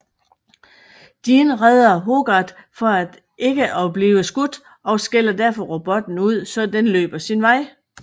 Dean redder hogarth for at ikke og blive skudt og skælder derfor robotten ud så den løber sin vej